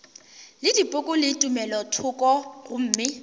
le dipoko le tumelothoko gomme